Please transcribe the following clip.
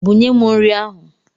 Bunye m nri ahụ!